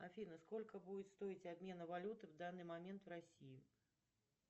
афина сколько будет стоить обмен валюты в данный момент в россии